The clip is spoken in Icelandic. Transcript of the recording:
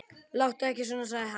Láttu ekki svona, sagði hann.